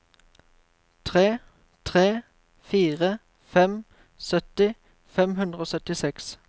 tre tre fire fem sytti fem hundre og syttiseks